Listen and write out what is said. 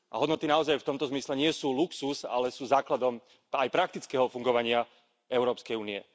A hodnoty naozaj v tomto zmysle nie sú luxus, ale sú základom aj praktického fungovania Európskej únie.